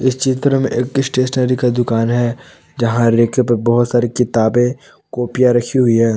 चित्र में एक स्टेशनरी का दुकान है जहां रैक पर बहुत सारी किताबें कॉपीया रखी हुई है।